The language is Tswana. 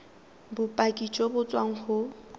bopaki jo bo tswang go